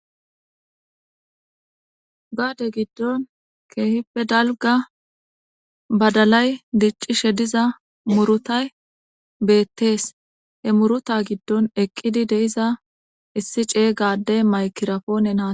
gaade giddon keehippe dalga badalay diccishe diza murutay beettees he muruta giddon eqqidi deiza issi cey gaaddey maykirafonena hasayes